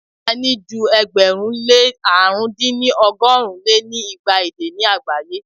a ní ju ẹgbẹ̀rún lé àrún dín ní ọgọ́rùn lé ní igba èdè ni agbaye.